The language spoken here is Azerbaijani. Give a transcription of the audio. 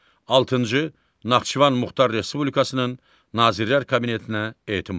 Altıncı Naxçıvan Muxtar Respublikasının Nazirlər Kabinetinə etimad.